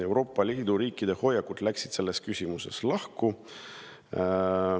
Euroopa Liidu riikide hoiakud läksid selles küsimuses lahku.